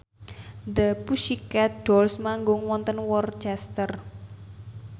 The Pussycat Dolls manggung wonten Worcester